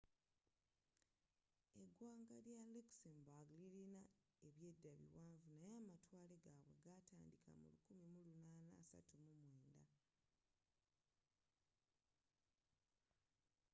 eggwanga lya luxembourg lilina ebyedda biwanvu naye amatwale gaabwe g'ataandiika mu 1839